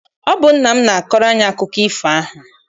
Ọ bụ nna m na-akọrọ anyị akụkọ ifo ahụ.